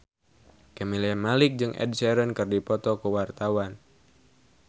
Camelia Malik jeung Ed Sheeran keur dipoto ku wartawan